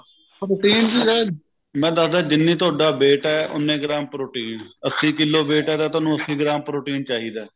protein ਚਾਹੇ ਮੈਂ ਦਸਦਾ ਜਿੰਨੀ ਤੁਹਾਡਾ weight ਐ ਉਹਨੇ ਗ੍ਰਾਮ protein ਅੱਸੀ ਕਿੱਲੋ weight ਹੈ ਤਾਂ ਤੁਹਾਨੂੰ ਅੱਸੀ ਗ੍ਰਾਮ protein ਚਾਹਿਦਾ